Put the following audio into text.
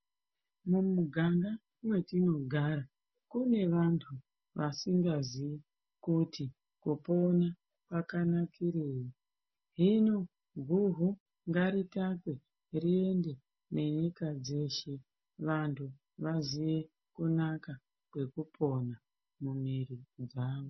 Mumuganga mwetinogara kune vantu vasingaziyi kuti kupona kwakanakirei. Himo guvhu ngaritatwe riende nenyika dzeshe vantu vaziye kunaka kwekupona mumwiri dzavo.